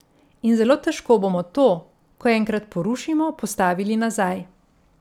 In zelo težko bomo to, ko enkrat porušimo, postavili nazaj.